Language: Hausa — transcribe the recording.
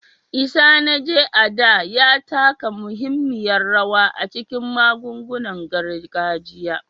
Isanaje, a da, ya taka muhimmiyar rawa a cikin magungunan gargajiya